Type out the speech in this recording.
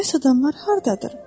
Bəs adamlar hardadır?